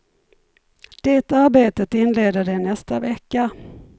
Det arbetet inleder de nästa vecka.